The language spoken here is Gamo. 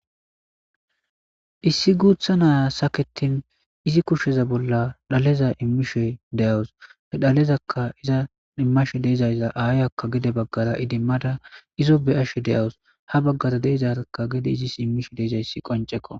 issi guutha naya saketin izi kushsheza bolla dhaleza immishe de7awus he dhalezaka iza immashe deezaysza aayakka gede baggara idimmada izo beyashe de7awus ha baggara deezarkka gede izis immishe deezayssi qoncekko